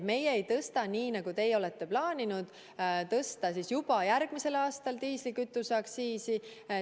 Meie ei tõsta nii, nagu teie plaanisite juba järgmisel aastal tõsta diislikütuse aktsiisi.